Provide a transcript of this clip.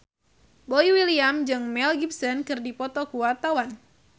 Boy William jeung Mel Gibson keur dipoto ku wartawan